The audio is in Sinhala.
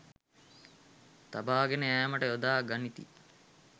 තබාගෙන යෑමට යොදා ගනිති